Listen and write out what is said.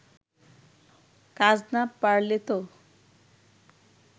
কাজ না পারলেতো